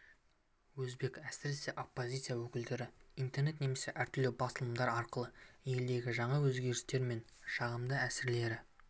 өзбек әсіресе оппозиция өкілдері интернет немесе әртүрлі басылымдар арқылы елдегі жаңа өзгерістер мен жағымды әсерлері